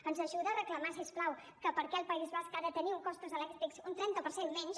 ens ajuda a reclamar si us plau que per què el país basc ha de tenir costos elèctrics d’un trenta per cent menys